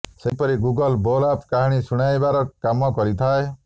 ସେହପରି Google Bolo app କାହାଣୀ ଶୁଣାଇବାର କାମ କରିଥାଏ